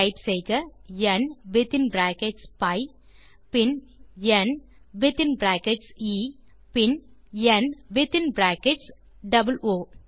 type செய்க N within brackets B பின் N within brackets A பின் ந் வித்தின் பிராக்கெட்ஸ் ஓ